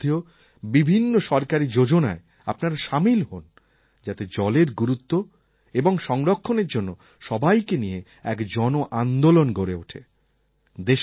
এই সম্বন্ধীয় বিভিন্ন সরকারী যোজনায় আপনারা সামিল হোন যাতে জলের গুরুত্ব এবং সংরক্ষণের জন্য সবাইকে নিয়ে এক জনআন্দোলন গড়ে ওঠে